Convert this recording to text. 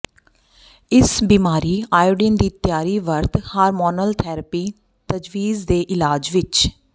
ਇਸ ਬਿਮਾਰੀ ਆਇਓਡੀਨ ਦੀ ਤਿਆਰੀ ਵਰਤ ਹਾਰਮੋਨਲ ਥੈਰੇਪੀ ਤਜਵੀਜ਼ ਦੇ ਇਲਾਜ ਵਿੱਚ